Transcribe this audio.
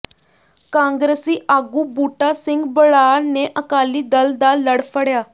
ਕਾਂਗਰਸੀ ਆਗੂ ਬੂਟਾ ਸਿੰਘ ਬਰਾੜ ਨੇ ਅਕਾਲੀ ਦਲ ਦਾ ਲੜ ਫੜਿਆ